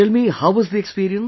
Tell me, how was the experience